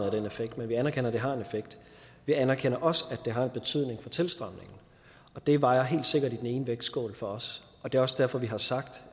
af den effekt men vi anerkender at det har en effekt vi anerkender også at det har en betydning for tilstrømningen og det vejer helt sikkert i den ene vægtskål for os og det er også derfor vi har sagt